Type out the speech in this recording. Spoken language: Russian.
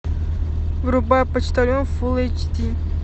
врубай почтальон фул эйч ди